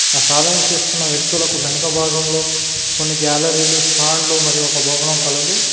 ఆ సాధన చేస్తున్న వ్యక్తులకు వెనుక భాగంలో కొన్ని గ్యాలరీలు స్టాండ్లు మరియు ఒక భవనం కలదు.